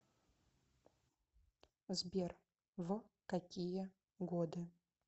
сбер в какие годы